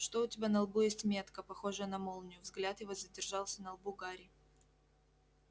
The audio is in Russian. что у тебя на лбу есть метка похожая на молнию взгляд его задержался на лбу гарри